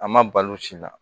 A ma balo sin na